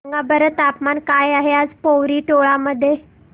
सांगा बरं तापमान काय आहे आज पोवरी टोला मध्ये